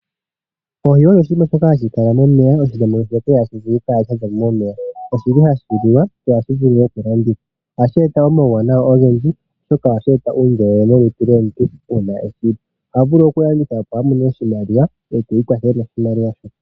Oohi odho oshinima shoka hashi kala momeya. Oshili hashi liwa sho ohashi vulu woo okulandithwa. Ohashi eta omawuwanawa ogendji oshoka ohashi eta uundjolowele molutu lwomuntu uuna eshili . Oha vulu okulanditha opo amone oshimaliwa eti ikwathele noshimaliwa shoka.